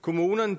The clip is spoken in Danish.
kommunerne